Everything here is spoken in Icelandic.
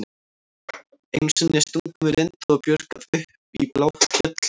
Einu sinni stungum við Linda og Björg af upp í Bláfjöll með